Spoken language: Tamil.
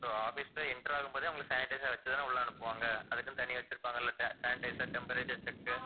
so office ல enter ஆகும்போதே அவங்களை sanitizer ஆ வச்சுதான் உள்ள அனுப்புவாங்க அதுக்குன்னு தனியா வச்சிருப்பாங்கள்ல sanitizer, temperature check